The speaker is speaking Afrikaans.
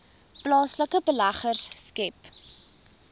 plaaslike beleggers skep